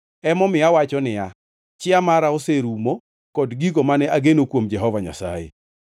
Emomiyo awacho niya, “Chia mara oserumo kod gigo mane ageno kuom Jehova Nyasaye.”